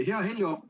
Hea Heljo!